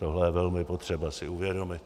Tohle je velmi potřeba si uvědomit.